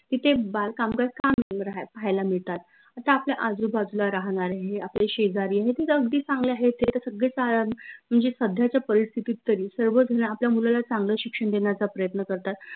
तिथे बाल कामगार का पाहायला मिळतात? आता आपल्या आजूबाजूला राहनारे हे आपले शेजारी हे त अगदी चांगले आहेत ते त सगळे म्हनजे सध्याच्या परिस्थितीत तरी सर्व झन आपल्या मुलाला चांगलं शिक्षण देण्याचा प्रयत्न करतात